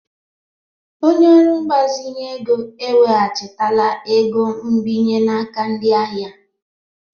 Onye ọrụ mgbazinye ego eweghachitala ego nbinye n'aka ndị ahịa.